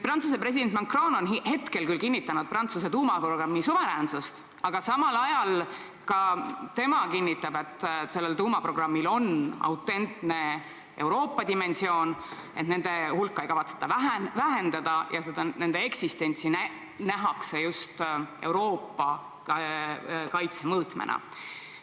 Prantsuse president Macron on küll kinnitanud Prantsuse tuumaprogrammi suveräänsust, aga samal ajal ka tema ütleb, et sellel tuumaprogrammil on autentne Euroopa dimensioon, et nende relvade hulka ei kavatseta vähendada ja nende eksistentsi nähakse just lähtudes Euroopa kaitsevajadusest.